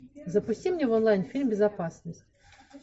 запусти мне в онлайн фильм безопасность